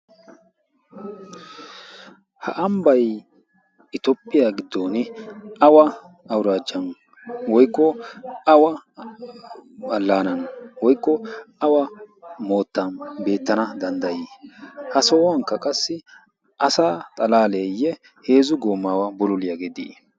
ha ambbay itoopphiyaa giddon awa auraacan woikko awa allaanan woikko awa moottan beettana danddayii ha sohuwankka qassi asa xalaaleeyye heezu goomaawa buloliyaageedii?